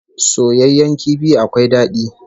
Soyayyen kifi akwai dadi